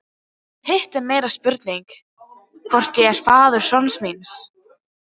Hitt er meiri spurning hvort ég sé faðir sonar míns.